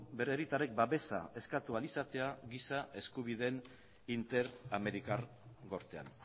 bere hiritarrek babesa eskatu ahal izatea giza eskubideen interamerikar gortean